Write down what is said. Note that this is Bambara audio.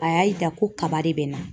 A y'a yira ko kaba de bɛ n na .